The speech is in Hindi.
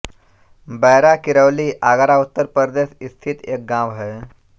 बैरा किरौली आगरा उत्तर प्रदेश स्थित एक गाँव है